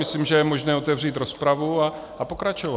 Myslím, že je možné otevřít rozpravu a pokračovat.